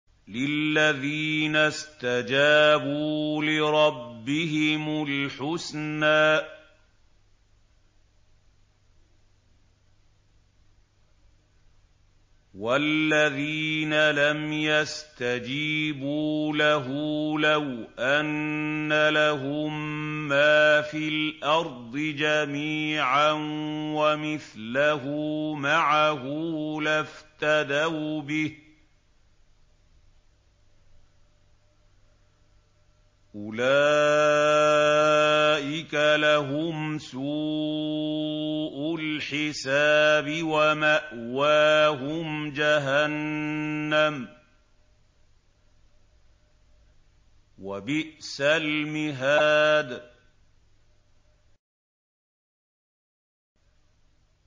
لِلَّذِينَ اسْتَجَابُوا لِرَبِّهِمُ الْحُسْنَىٰ ۚ وَالَّذِينَ لَمْ يَسْتَجِيبُوا لَهُ لَوْ أَنَّ لَهُم مَّا فِي الْأَرْضِ جَمِيعًا وَمِثْلَهُ مَعَهُ لَافْتَدَوْا بِهِ ۚ أُولَٰئِكَ لَهُمْ سُوءُ الْحِسَابِ وَمَأْوَاهُمْ جَهَنَّمُ ۖ وَبِئْسَ الْمِهَادُ